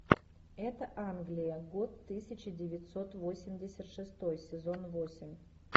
это англия год тысяча девятьсот восемьдесят шестой сезон восемь